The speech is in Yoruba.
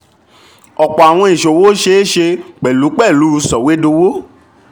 ọ̀pọ̀ àwọn ìṣòwò ṣeé ṣe pẹ̀lú pẹ̀lú sọ̀wédowó.